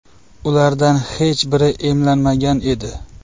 Ulardan hech biri emlanmagan edi.